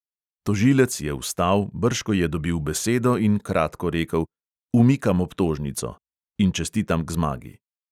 Tožilec je vstal, brž ko je dobil besedo, in kratko rekel: "umikam obtožnico … in čestitam k zmagi!"